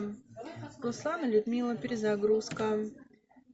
руслан и людмила перезагрузка